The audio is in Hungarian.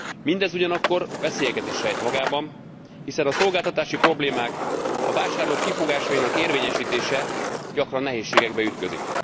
Mindez ugyanakkor veszélyeket is rejt magában, hiszen a szolgáltatási problémák, a vásárlók kifogásainak érvényesítése gyakran nehézségekbe ütközik.